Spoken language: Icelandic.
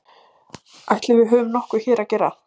Ætli við höfum nokkuð hér að gera?